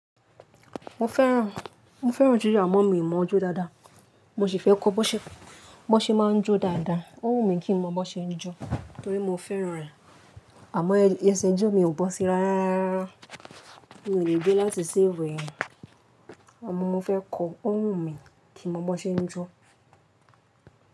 Mo fẹ́ràn, mo fẹ́ràn jijọ̀ amo mi mọ̀ jọ́ dáadáa. Mo sì fẹ́ kọ́ ọ́ bọ́ṣẹ́, bọ́ṣẹ́ máa ń jó dáadáa. Ó wù mí kí n mọ́ bọ́ṣẹ́ ń jó torí mo fẹ́ràn rẹ̀. Àmọ́ ẹṣẹ̀ ijó mi ò bọ́ sí rárárá. Mi ò lè gbé láti ṣafu eyan, àmọ́ mo fẹ́ kọ́ ó wù mí kí n mọ́ bọ́ṣẹ́ ń jó.